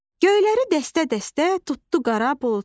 Göyləri dəstə-dəstə tutdu qara buludlar.